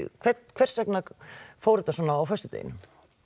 hvers vegna fór þetta svona á föstudeginum